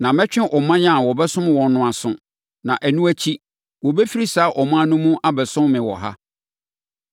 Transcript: Na mɛtwe ɔman a wɔbɛsom wɔn no aso; na ɛno akyi wɔbɛfiri saa ɔman no mu abɛsom me wɔ ha.’